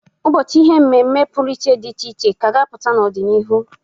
Ụbọchị ihe mmemme pụrụ iche dị iche iche ka a ga apụta n'ọ dị n'iru.